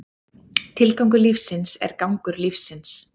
Tilgangur lífsins er gangur lífsins.